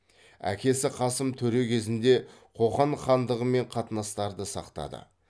әкесі қасым төре кезінде қоқан хандығымен қатынастарды сақтады